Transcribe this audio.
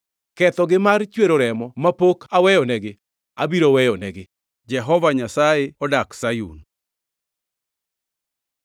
Kethogi mar chwero remo mapok aweyonegi, abiro weyonegi.” Jehova Nyasaye odak Sayun!